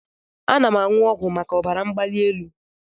Ana m aṅụ ọgwụ maka ọbara mgbali elu.